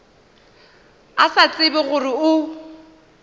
a sa tsebe gore o